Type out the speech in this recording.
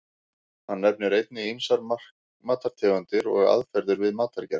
Hann nefnir einnig ýmsar matartegundir og aðferðir við matargerð.